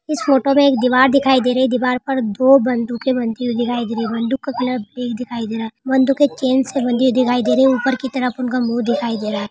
इस फोटो में एक दीवार दिखाई दे रही है दीवार पर दो बंदूके बनती हुई दिखाई दे रही है बंदूकों का कलर सफेद दिखाई दे रहा है बंदूके चैन से बंदी दिखाई दे रही है ऊपर की तरफ उन का मुँह दिखाई दे रहा है।